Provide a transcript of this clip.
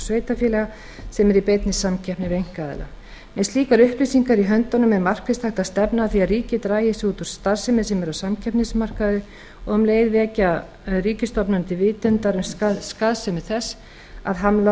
sveitarfélaga sem er í beinni samkeppni við einkaaðila með slíkar upplýsingar í höndunum er markvisst hægt að stefna að því að ríkið dragi sig út úr starfsemi sem er á samkeppnismarkaði og um leið vekja ríkisstofnanir til vitundar um skaðsemi þess að hamla